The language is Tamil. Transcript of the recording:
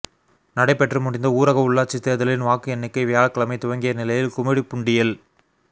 நடைபெற்று முடிந்த ஊரக உள்ளாட்சி தேர்தலின் வாக்கு எண்ணிக்கை வியாழக்கிழமை துவங்கிய நிலையில் கும்மிடிப்பூண்டியில்